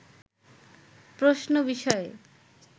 প্রশ্ন বিষয়ে